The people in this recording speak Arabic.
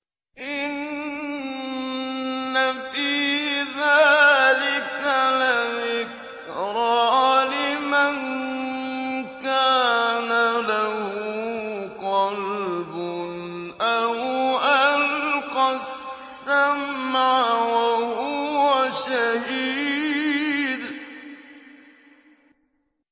إِنَّ فِي ذَٰلِكَ لَذِكْرَىٰ لِمَن كَانَ لَهُ قَلْبٌ أَوْ أَلْقَى السَّمْعَ وَهُوَ شَهِيدٌ